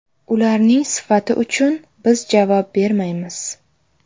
Ularning sifati uchun biz javob bermaymiz.